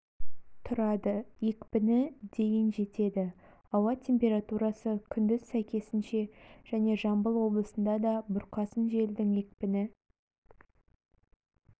тұрады екпіні дейін жетеді ауа температурасы күндіз сәйкесінше және жамбыл облысында да бұрқасын желдің екпіні